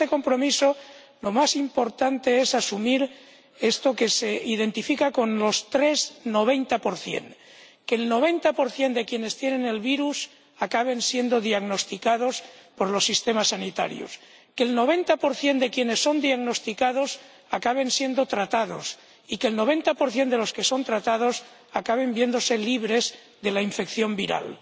Y en este compromiso, lo más importante es asumir lo que se identifica con los tres 90 que el 90 de quienes tienen el virus acaben siendo diagnosticados por los sistemas sanitarios, que el 90 de quienes son diagnosticados acaben siendo tratados y que el 90 de los que son tratados acaben viéndose libres de la infección viral.